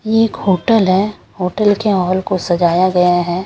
यह एक होटल है होटल के हाल को सजाया गया है।